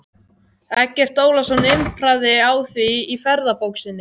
Eggert Ólafsson impraði á því í ferðabók sinni